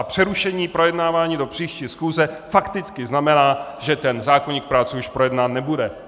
A přerušení projednávání do příští schůze fakticky znamená, že ten zákoník práce už projednán nebude.